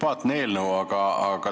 Sümpaatne eelnõu.